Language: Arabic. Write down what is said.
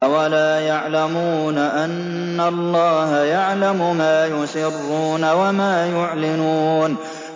أَوَلَا يَعْلَمُونَ أَنَّ اللَّهَ يَعْلَمُ مَا يُسِرُّونَ وَمَا يُعْلِنُونَ